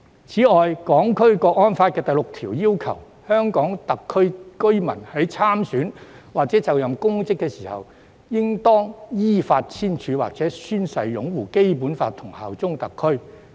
此外，《香港國安法》第六條訂明，香港特別行政區居民在參選或就任公職時應當依法簽署或宣誓擁護《基本法》和效忠特區。